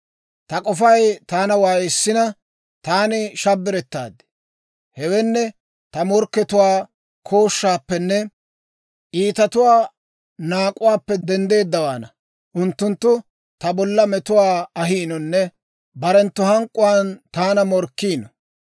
Hewenne, ta morkkatuwaa kooshshaappenne, iitatuwaa naak'uwaappe denddeeddawaana. Unttunttu ta bolla metuwaa ahiinonne barenttu hank'k'uwaan taana morkkiino.